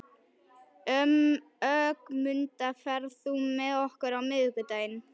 Ögmunda, ferð þú með okkur á miðvikudaginn?